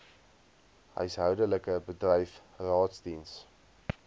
huishoudelik bedryf raadsdiens